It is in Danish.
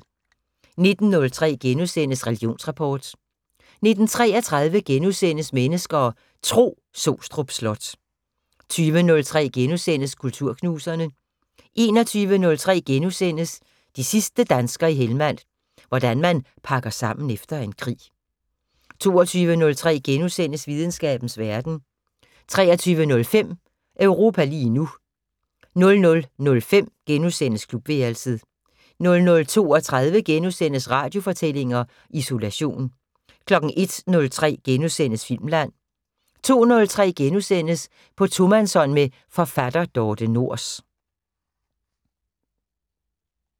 19:03: Religionsrapport * 19:33: Mennesker og Tro: Sostrup Slot * 20:03: Kulturknuserne * 21:03: De sidste danskere i Helmand - hvordan man pakker sammen efter en krig * 22:03: Videnskabens Verden * 23:05: Europa lige nu 00:05: Klubværelset * 00:32: Radiofortællinger: Isolation * 01:03: Filmland * 02:03: På tomandshånd med forfatter Dorthe Nors *